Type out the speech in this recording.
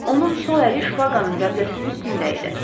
Onun sol əli şpaqanın qəbzəsinin üstündə idi.